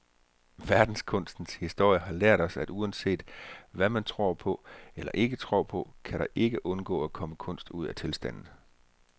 Verdenskunstens historie har lært os, at uanset hvad man tror på eller ikke tror på, kan der ikke undgå at komme kunst ud af tilstanden.